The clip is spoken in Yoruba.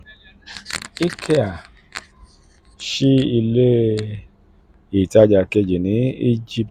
ikea ṣí ikea ṣí ilé ìtajà kejì ní egypt